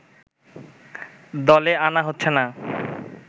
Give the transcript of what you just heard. দলে আনা হচ্ছে না